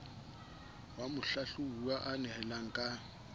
ao mohlahlobuwa a nehelaneng ka